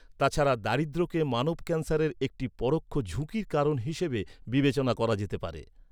তাছাড়া, দারিদ্র্যকে মানব ক্যান্সারের একটি পরোক্ষ ঝুঁকির কারণ হিসাবে বিবেচনা করা যেতে পারে।